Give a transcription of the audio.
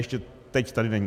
Ještě teď tady není.